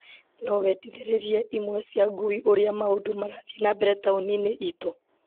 No wendithĩrĩrie imwe cia ngui ũrĩa maũndũ marathiĩ na mbere taũni-inĩ itũ.